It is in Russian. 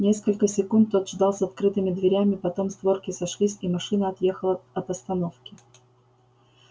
несколько секунд тот ждал с открытыми дверями потом створки сошлись и машина отъехала от остановки